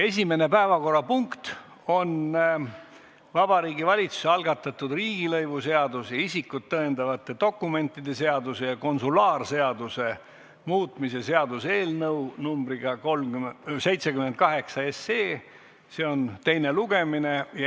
Esimene päevakorrapunkt on Vabariigi Valitsuse algatatud riigilõivuseaduse, isikut tõendavate dokumentide seaduse ja konsulaarseaduse muutmise seaduse eelnõu 78 teine lugemine.